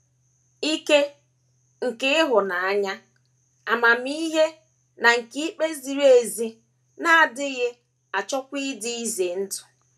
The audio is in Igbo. Ike, nke ịhụnanya, amamihe, na nke ikpe ziri ezi na - adịghị achịkwa dị ize ndụ.